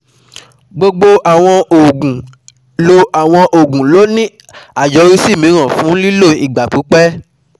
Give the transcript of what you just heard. Gbogbo àwọn òògùn ló àwọn òògùn ló ní àyọrísí mìíràn fún ìlò ìgbà pípẹ́